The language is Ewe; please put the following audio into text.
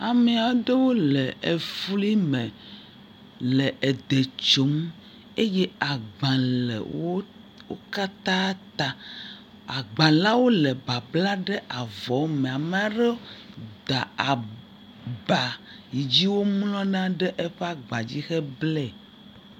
ameaɖewo le efli me le edɛ tsom eye agbã le wó wókatã ta agbã la wóle babla ɖe avɔwo me amaɖewo da aba yidzi womlɔna ɖe wóƒe agba dzi he blɛ